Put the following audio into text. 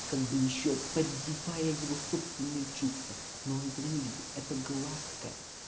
как бы ещё поддевая его собственные чувства но он этого не видит это гладко